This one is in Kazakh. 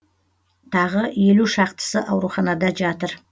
тағы елу шақтысы ауруханада жатыр